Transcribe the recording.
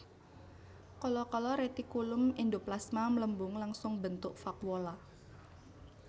Kala kala retikulum endoplasma mlembung langsung mbentuk vakuola